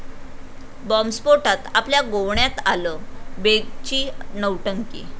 बॉम्बस्फोटात आपल्या गोवण्यात आलं, बेगची नौटंकी